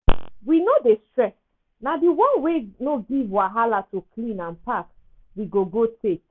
we no dey stress na the one wey no give wahala to clean and pack we go go take.